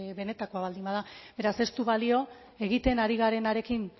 benetako baldin bada beraz ez du balio egiten ari garenarekin